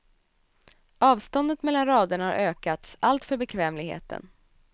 Avståndet mellan raderna har ökats, allt för bekvämligheten.